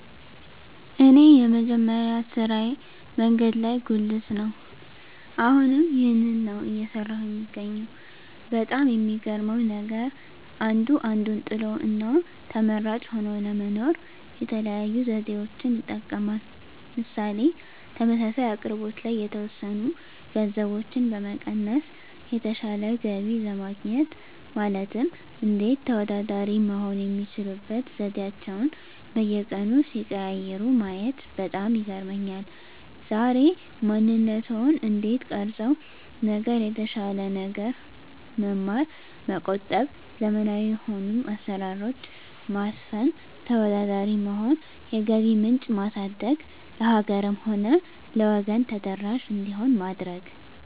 እኔ የመጀመሪያ ስራየ መንገድ ላይ ጉልት ነው አሁንም ይህንን ነው እየሰራሁ የምገኘው በጣም የሚገርመው ነገር አንዱ አንዱን ጥሎ እና ተመራጭ ሆኖ ለመኖር የተለያዩ ዘዴዎችን ይጠቀማል ምሳሌ ተመሳሳይ አቅርቦት ላይ የተወሰኑ ገንዘቦችን በመቀነስ የተሻለ ገቢ ለማግኘት ማለትም እንዴት ተወዳዳሪ መሆን የሚችሉበት ዘዴአቸዉን በየቀኑ ሲቀያይሩ ማየት በጣም ይገርመኛል ዛሬ ማንነትዎን እንዴት ቀረፀው ነገር የተሻለ ነገር መማር መቆጠብ ዘመናዊ የሆኑ አሰራሮች ማስፈን ተወዳዳሪ መሆን የገቢ ምንጭ ማሳደግ ለሀገርም ሆነ ለወገን ተደራሽ እንዲሆን ማድረግ